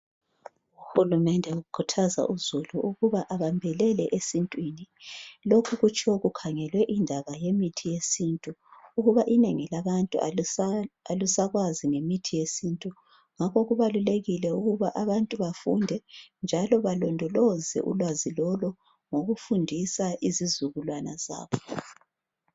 Uhulumende ukhuthaza uzulu ukuthi babambelele emithini yesintu lokhu kutshiwo kukhangelwe indaba yesintu ukuba inengi labantu lifundise njalo lilondoloze izizukwalana zabo.